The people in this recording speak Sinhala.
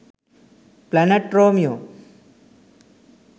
planet romeo